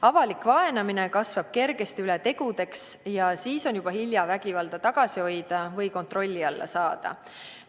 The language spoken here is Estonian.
Avalik vaenamine kasvab kergesti üle tegudeks ja siis on juba hilja vägivalda tagasi hoida või kontrolli alla saada.